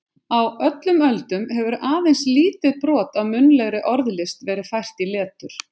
Á öllum öldum hefur aðeins lítið brot af munnlegri orðlist verið fært í letur.